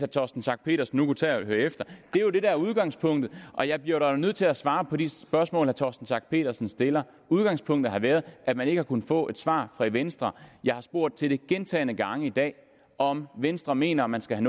torsten schack pedersen nu kunne tage at høre efter der er udgangspunktet og jeg bliver dog nødt til at svare på de spørgsmål herre torsten schack pedersen stiller udgangspunktet har været at man ikke har kunnet få et svar fra venstre jeg har spurgt til det gentagne gange i dag om venstre mener at man skal